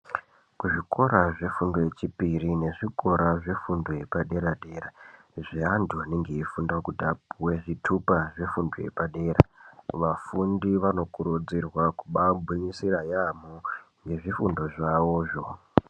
Kuzvikora zvefundo yechipiri nekuzvikora yefundo yepaderadera zvevantu vanenge veifunda kuti vapuwe zvitupa yefundo yepadera vafundi vanokurudzirwa kumbangwinyisira yambo ngezvifundo zvavozvo.